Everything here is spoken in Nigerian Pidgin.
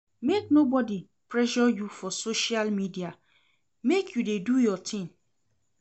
Make nobodi pressure you for social media, make you dey do your tin.